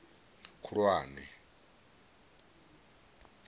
khulwane